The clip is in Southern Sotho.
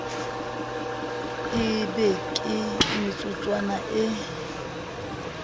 e be ke metsotswana e